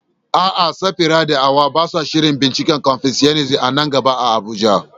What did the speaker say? A'a, Safira da Hawwa ba sa shirin binciken Confucianism a nan gaba a Abuja.